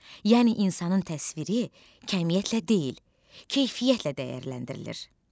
Yəni insanın təsviri kəmiyyətlə deyil, keyfiyyətlə dəyərləndirilir.